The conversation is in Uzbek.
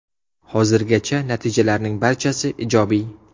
Hozirgacha natijalarning barchasi ijobiy.